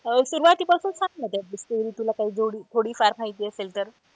सुरुवाती पासून सांग ना त्यातली story तुला काही थोडी फार माहिती असेल तर.